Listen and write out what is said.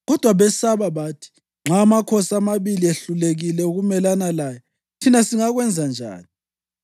Kodwa besaba bathi: “Nxa amakhosi amabili ehlulekile ukumelana laye, thina singakwenza njani?”